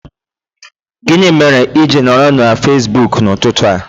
Gịnị mere i ji nọrọ na Fesibuku n'ụtụtụ a?